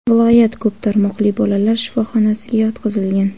viloyat ko‘p tarmoqli bolalar shifoxonasiga yotqizilgan.